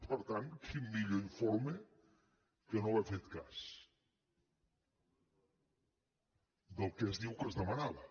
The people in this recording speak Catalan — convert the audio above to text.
per tant quin millor informe que no haver fet cas del que es diu que es demanava